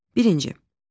Birinci.